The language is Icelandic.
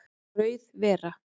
Rauð vera